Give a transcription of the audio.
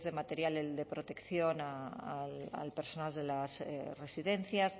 material de protección al personal de las residencias